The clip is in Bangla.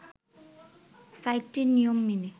সাইটটির নিয়ম মেনে